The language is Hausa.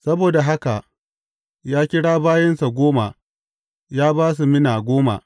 Saboda haka ya kira bayinsa goma ya ba su mina goma.